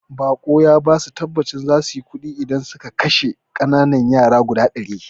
Boka ya basu tabbacin zasuyi kuɗi idan suka kashe ƙananan yara guda ɗari